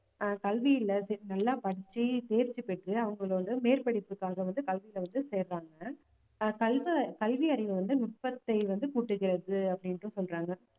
ஆஹ் கல்வியில தே~ நல்லா படிச்சு தேர்ச்சி பெற்று அவங்களோட மேற்படிப்புக்காக வந்து கல்வியில வந்து சேர்றாங்க ஆஹ் கல்வ~ கல்வி அறிவு வந்து நுட்பத்தை வந்து கூட்டுகிறது அப்படின்னுட்டு சொல்றாங்க